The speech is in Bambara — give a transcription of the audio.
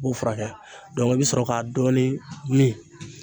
I b'o furakɛ i bɛ sɔrɔ ka dɔɔnin min.